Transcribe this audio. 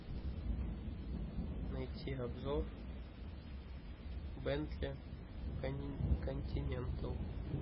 найти обзор бентли континентал